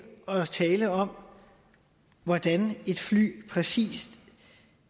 og tale om hvordan et fly præcis